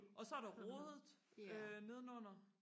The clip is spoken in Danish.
og så er der rodet øh nedenunder